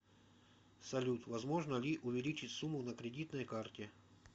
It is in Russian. салют возможно ли увеличить сумму на кредитной карте